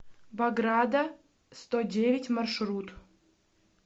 бограда сто девять маршрут